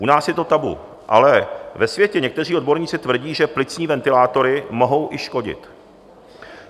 U nás je to tabu, ale ve světě někteří odborníci tvrdí, že plicní ventilátory mohou i škodit.